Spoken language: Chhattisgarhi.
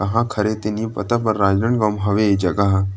कहाँ क हरे ए तो नइ पता लेकिन राजनांदगाव म हवे ए जगह ह --